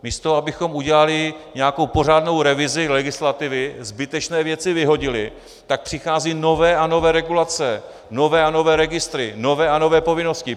Místo abychom udělali nějakou pořádnou revizi legislativy, zbytečné věci vyhodili, tak přicházejí nové a nové regulace, nové a nové registry, nové a nové povinnosti.